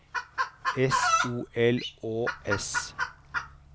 S O L Å S